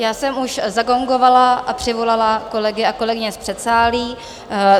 Já jsem už zagongovala a přivolala kolegy a kolegyně z předsálí.